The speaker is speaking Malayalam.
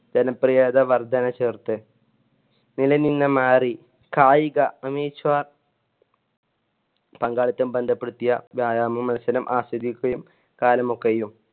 ജനപ്രിയത വർധന ചേർത്ത് നിലനിന്ന് മാറി കായിക amateur പങ്കാളിത്തം ബന്ധപ്പെടുത്തിയ വ്യായാമ മത്സരം ആസ്വദിക്കുകയും കാലമൊക്കയും